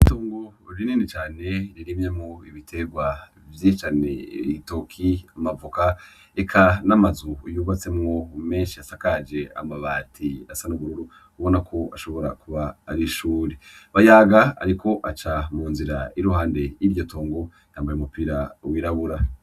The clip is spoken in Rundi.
Itongo rinini cane ririmyemwo ibiterwa vyinshi cane, ibitoke, amavoka eka n'amazu yubatsemwo menshi asakaje amabati asa n'ubururu ubonako ashobora kuba ari ishure. Bayaga ariko aca munzira iri iruhande y'iryo tongo yambaye umupira wirabura.